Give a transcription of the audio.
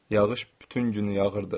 Yağış bütün günü yağırdı.